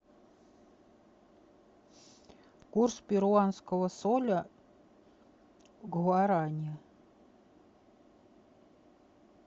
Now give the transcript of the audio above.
курс перуанского соля к гуарани